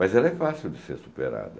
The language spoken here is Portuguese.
Mas ela é fácil de ser superada.